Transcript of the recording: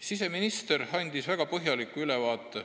Siseminister andis praegu siin saalis väga põhjaliku ülevaate,